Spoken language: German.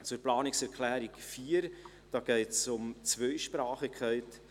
Zu Planungserklärung 4: Hier geht es um die Zweisprachigkeit.